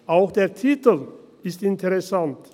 Auch der Titel ist interessant: